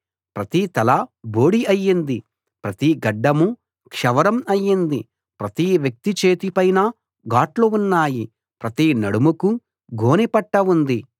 ప్రతి తలా బోడి అయింది ప్రతి గడ్డమూ క్షవరం అయింది ప్రతి వ్యక్తి చేతి పైనా గాట్లు ఉన్నాయి ప్రతి నడుముకూ గోనె పట్టా ఉంది